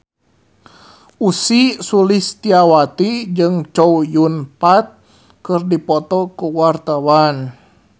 Ussy Sulistyawati jeung Chow Yun Fat keur dipoto ku wartawan